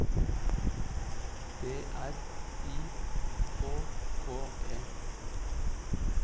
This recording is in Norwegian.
D R I K K E